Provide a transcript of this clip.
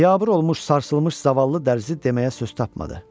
Biabır olmuş, sarsılmış zavallı dərzi deməyə söz tapmadı.